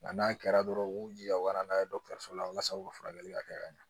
Nka n'a kɛra dɔrɔn u b'u jija u ka taa n'a ye dɔgɔtɔrɔso la walasa u ka furakɛli ka kɛ ka ɲa